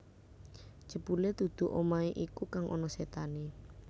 Jebule dudu omahe iku kang ana setane